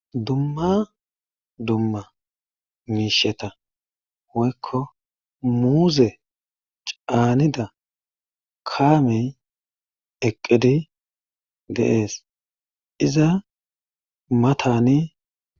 dumma dumma miisheta hoykko muuze caanida kaamey eqqidi deees iza mataani